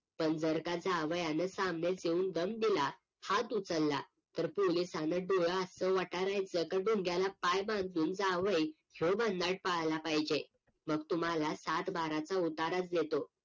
पण जर का जावयानं सामनेच येऊन दम दिला हात उचलला तर पोलिसानं डोळं असं वटरायचं की ढुंग्याला पाय बांधून जावई ह्यो भनाट पळाला पाहिजे मग तुम्हाला सातबाऱ्याचं उताराचा देतो